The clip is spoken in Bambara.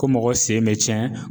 Ko mɔgɔ sen bɛ cɛn.